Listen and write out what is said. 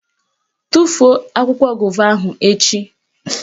Tufuo akwụkwọ gova ahụ echi!